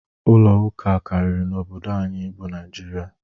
Ụlo ụka karịrị n'obodo anyị bụ Naịjirịa